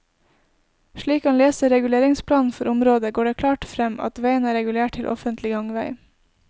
Slik han leser reguleringsplanen for området, går det klart frem at veien er regulert til offentlig gangvei.